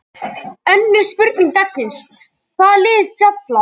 Önnur spurning dagsins: Hvaða lið falla?